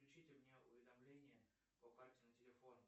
включите мне уведомления по карте на телефон